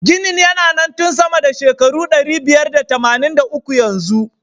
Ginin na nan tun sama da shekaru ɗari biyar da tamanin da uku yanzu.